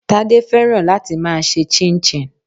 Tade fẹ́ràn láti máa ṣe chinchin.